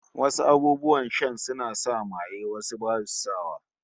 Wasu abubuwan shan suna sa maye, wasu basu sa wa